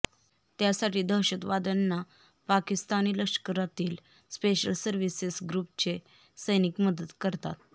त्यासाठी दहशतवाद्यांना पाकिस्तानी लष्करातील स्पेशल सर्व्हिसेस ग्रुपचे सैनिक मदत करतात